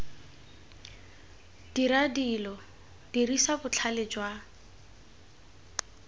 dira dilo dirisa botlhale jwa